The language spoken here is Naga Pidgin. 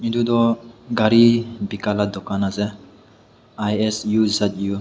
etu tu gari Bika laga dukan ase isuzu --